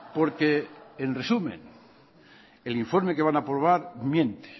porque en resumen el informe que van a aprobar miente